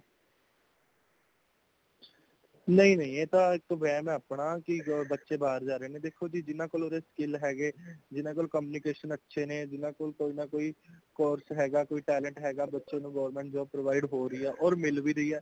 ਨਈਂ ਨਈਂ ਇਹ ਤਾਂ ਇੱਕ ਵੈਹਮ ਹੈ ਅਪਨਾ ਕਿ ਬੱਚੇ ਬਾਹਰ ਜਾ ਰਹੇ ਨੇ ਦੇਖੋ ਜੀ ,ਜਿਨ੍ਹਾਂ ਕੋਲ਼ skill ਹੇਗੇ, ਜਿਨ੍ਹਾਂ ਕੋਲ communication ਅੱਛੇ ਨੇ, ਜਿਨ੍ਹਾਂ ਕੋਲ਼ ਕੋਈ course ਹੇਗਾਂ ,ਕੋਈਂ talent ਹੇਗਾਂ ,ਬੱਚੇ ਨੂੰ government jobs provide ਹੋਰੀਆਂ ਹੋਰ ਮੀਲ ਵੀ ਰਹੀਆਂ